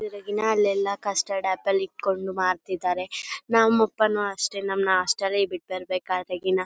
ಅಲ್ಲೆಲ್ಲ ಕಷ್ಟಡಾಬಲ್ ಇಟ್ಕೊಂಡು ಮಾಡ್ತಿದಾರೆ ನಮ್ ಅಪ್ಪನು ಅಷ್ಟೇ ನಮ್ನ ಹಾಸ್ಟೆಲ್ ಗೆ ಬಿಟ್ ಬರ್ಬೇಕಾದ್ರೆ ಗಿನ--